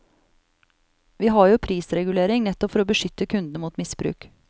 Vi har jo prisregulering nettopp for å beskytte kundene mot misbruk.